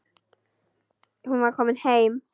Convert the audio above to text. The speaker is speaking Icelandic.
Hún var komin heim.